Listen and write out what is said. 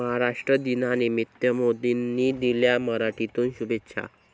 महाराष्ट्र दिनानिमित्त मोदींनी दिल्या मराठीतून शुभेच्छा!